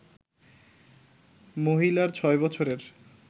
মহিলার ছয় বছরের